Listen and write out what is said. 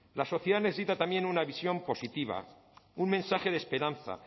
la sociedad necesita también una visión positiva un mensaje de esperanza